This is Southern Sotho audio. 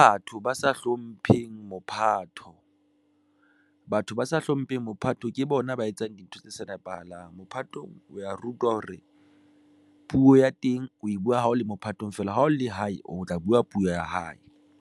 Batho ba sa hlompheng mophatho. Batho ba sa hlompheng mophato ke bona ba etsang dintho tse sa nepahalang. Mophato o ya rutwa hore puo ya teng o e buwa ha o le mophatong feela ha o le hae, o tla buwa puo ya hae.